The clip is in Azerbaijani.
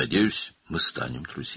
Ümid edirəm, biz dost olarıq.